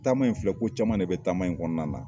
Taama in filɛ ko caman de bɛ taama in kɔnɔna na.